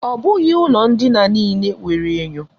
Ọ bụghị ụlọ ndina niile nwere enyo.